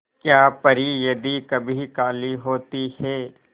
क्या परी यदि कभी काली होती है